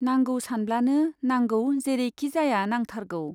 नांगौ सानब्लानो नांगौ जेरैखिजाया नांथारगौ।